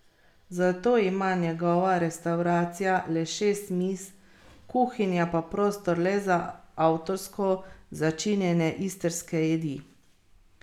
Zato ima njegova restavracija le šest miz, kuhinja pa prostor le za avtorsko začinjene istrske jedi.